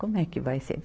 Como é que vai ser?